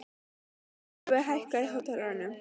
Sólveig, hækkaðu í hátalaranum.